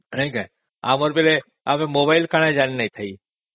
ନାଇଁ କି ଆମବେଳେ ଆମେ ମୋବାଇଲ କଣ ଜାଣି ନ ଥିଲେ